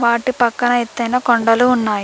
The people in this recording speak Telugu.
వాటి పక్కన ఎత్తైన కొండలు ఉన్నాయి.